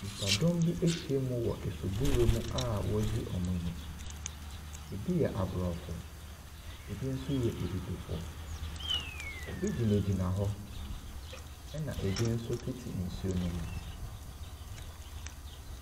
Nnipadɔm bi ahyia mu wɔ asuburam a wɔregye wɔn ani. Ebi yɛ Aborɔfo, ebi yɛ Abibifo. Ebi gyinagyina hɔ na ebi nso tete nsuo no mu.